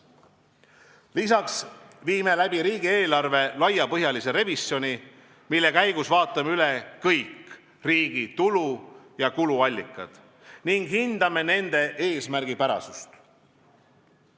Lisaks viime läbi riigieelarve laiapõhjalise revisjoni, mille käigus vaatame üle kõik riigi tulu- ja kuluallikad ning hindame nende eesmärgipärasust.